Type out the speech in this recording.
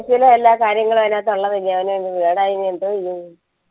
office ലെ എല്ലാ കാര്യങ്ങളും അതിനകത്തു ഉള്ളതല്ലേ എന്തുവാ ചെയ്യും